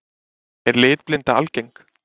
Er litblinda algeng?